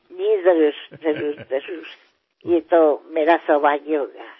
हो हो नक्की नक्की हे माझे सौभाग्य असेल